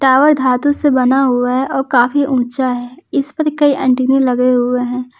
Tower धातु से बना हुआ है और काफी ऊंचा है इस पर कई एंटीना लगे हुए हैं।